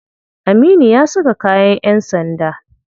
Aminu ya saka kayan yan sanda.